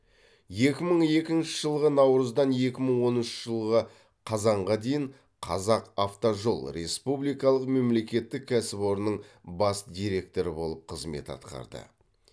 екі мың екінші жылғы наурыздан екі мың оныншы жылғы қазанға дейін қазақавтожол республикалық мемлекеттік кәсіпорынның бас директоры болып қызмет атқарды